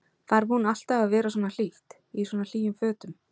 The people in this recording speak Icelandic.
Þarf hún alltaf að vera svona hlýtt, í svona hlýjum fötum?